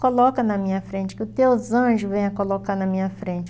Coloca na minha frente, que os teus anjos venham colocar na minha frente.